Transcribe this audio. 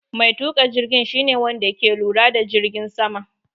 Mai tuka jirgin shi ne Wanda ke lura da jirgin sama.